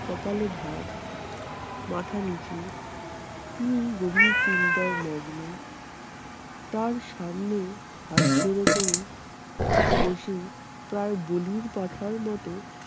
কপালে ভাঁজ মাথা নিচু তিনি গভীর চিন্তায় মগ্ন। তার সামনে হাত জড়ো করে বসে প্রায় বলির পাঁঠার মতো